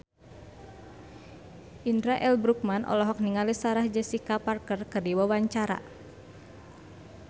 Indra L. Bruggman olohok ningali Sarah Jessica Parker keur diwawancara